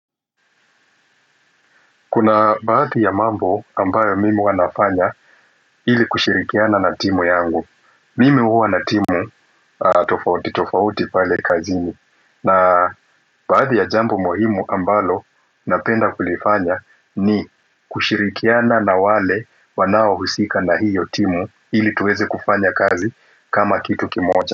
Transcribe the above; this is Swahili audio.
Kuna baadhi ya mambo ambayo mimi huwawanafanya ili kushirikiana na timu yangu. Mimi huwa na timu tofauti tofauti pale kazini. Na baadhi ya jambo muhimu ambalo napenda kulifanya ni kushirikiana na wale wanawahusika na hiyo timu ili tuweze kufanya kazi kama kitu kimoja.